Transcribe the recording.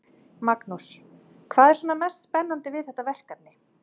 Magnús: Hvað er svona mest spennandi við þetta verkefni?